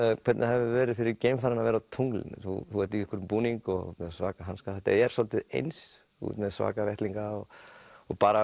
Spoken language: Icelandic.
hvernig hefur verið fyrir geimfarana að vera á tunglinu þú ert í búning og með svaka hanska þetta er svolítið eins þú ert með svaka vettlinga og bara